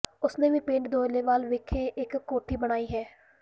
ਉਸ ਨੇ ਵੀ ਪਿੰਡ ਦੋਲੇਵਾਲ ਵਿਖੇ ਇਕ ਕੋਠੀ ਬਣਾਈ ਹੈ